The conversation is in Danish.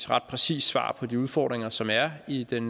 ret præcist svar på de udfordringer som er i den